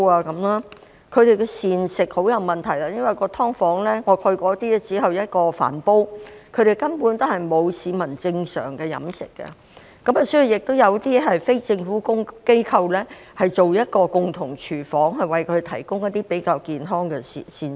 他們的膳食也有很大問題，因為我曾參觀一些"劏房"，住戶只有一個飯煲，他們根本沒有正常飲食，所以有些非政府機構提供共用廚房，讓他們得到比較健康的膳食。